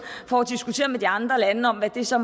for at diskutere med de andre lande om hvad det så